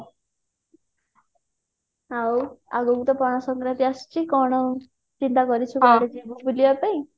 ଆଉ ଆଗକୁ ତ ପଣା ସଙ୍କ୍ରାନ୍ତି ଆସୁଛି କଣ ଚିନ୍ତା କରୁଛି କୁଆଡେ ଯିବୁ ବୁଲିବା ପାଇଁ